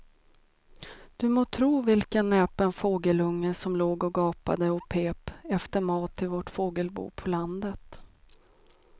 Du må tro vilken näpen fågelunge som låg och gapade och pep efter mat i vårt fågelbo på landet.